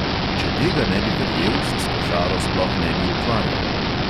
Če tega ne bi verjel, se s košaro sploh ne bi ukvarjal.